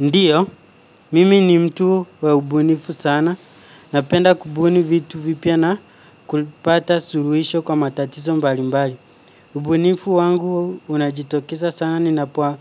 Ndiyo, mimi ni mtu wa ubunifu sana. Napenda kubuni vitu vipya na kulipata suluhisho kwa matatizo mbali mbali. Ubunifu wangu unajitokeza sana ninapo